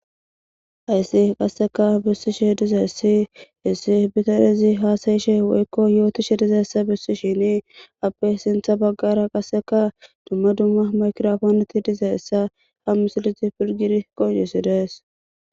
Hayssi qasse bessishe dizayssi issi bitanezi haasa7ishenne yootishe dizayssa besishini izape sintha bggara maygiraponey dizayssa besees.